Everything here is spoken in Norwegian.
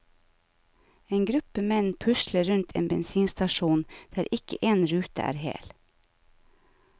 En gruppe menn pusler rundt en bensinstasjon der ikke en rute er hel.